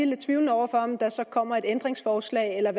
lidt tvivlende over for om der så kommer et ændringsforslag eller